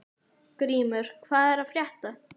Grímur, hvað er að frétta?